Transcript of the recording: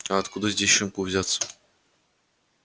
а откуда здесь щенку взяться